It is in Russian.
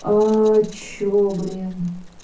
чего блин